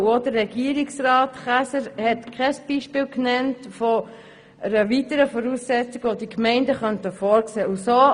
Auch Regierungsrat Käser nannte kein Beispiel einer weitergehenden Voraussetzung, die die Gemeinden vorsehen könnten.